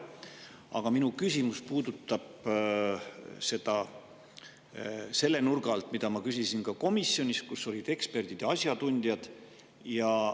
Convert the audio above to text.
Aga minu küsimus puudutab seda selle nurga alt, nagu ma küsisin ka komisjonis, kus olid eksperdid ja asjatundjad.